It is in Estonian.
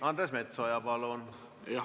Andres Metsoja, palun!